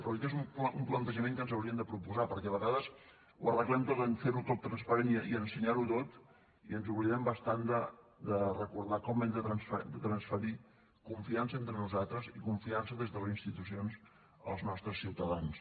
però crec que és un plantejament que ens hauríem de proposar perquè a vegades ho arreglem tot amb fer ho tot transparent i ensenyar ho tot i ens oblidem bastant de recordar com hem de transferir confiança entre nosaltres i confiança des de les institucions als nostres ciutadans